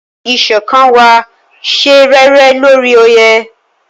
Iṣọkan wa ṣe réré lórí oye.